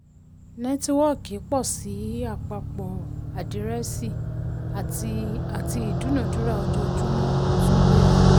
nẹ́tíwọ́kì pọ̀ sí àpapọ àdírẹ́ẹ̀sì àti àti ìdúnádúrà ojoojúmọ́ tún gbéra.